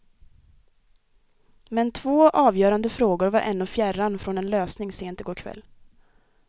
Men två avgörande frågor var ännu fjärran från en lösning sent i går kväll.